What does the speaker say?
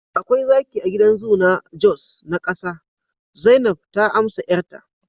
akwai zaki a gidan zoo na jos na kasa, zainab ta amsa 'yarta